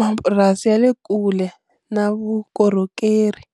mapurasi ya le kule na vukorhokeri.